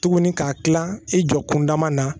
Tuguni ka kila i jɔ kunda na